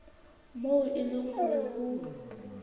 moo e leng hore ho